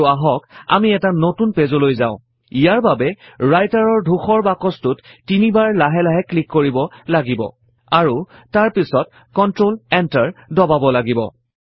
আৰু আহক আমি এটা নতুন পেজলৈ যাও ইয়াৰ বাবে Writer ৰ ধূসৰ বাকছটোত তিনিবাৰ লাহে লাহে ক্লিক কৰিব লাগিব আৰু তাৰ পাছত কন্ট্ৰল Enter দবাব লাগিব